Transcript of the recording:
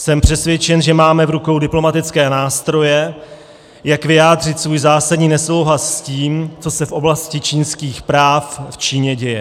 Jsem přesvědčen, že máme v rukou diplomatické nástroje, jak vyjádřit svůj zásadní nesouhlas s tím, co se v oblasti lidských práv v Číně děje.